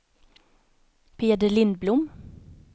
Peder Lindblom